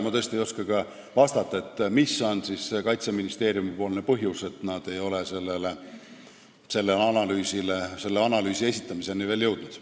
Ma tõesti ei oska ka vastata, mis on see põhjus, et Kaitseministeerium ei ole selle analüüsi esitamiseni veel jõudnud.